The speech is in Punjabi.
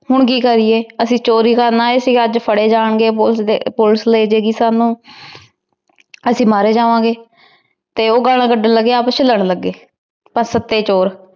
ਹਨ ਕੀ ਕਰੀਏ ਅਸੀਂ ਚੋਰੀ ਕਰਨ ਆਯ ਸੀ ਆਜ ਫਾਰੇ ਜਾਂ ਗੇ ਪੋਲਿਸ ਪੋਲਿਸ ਲੇ ਜੇ ਗੀ ਸਾਨੂ ਅਸੀਂ ਮਾਰੇ ਜਵਾਨ ਗੇ ਤੇ ਊ ਗਾਲਾਂ ਕਦਾਂ ਲਗੀ ਆਪਸ ਚ ਲਰਨ ਲਾਗ ਗੇ ਸਤੀ ਚੋਰ ਆਪਸ ਚ